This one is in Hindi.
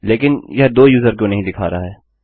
लेकिन यह दो यूज़र क्यों नहीं दिखा रहा है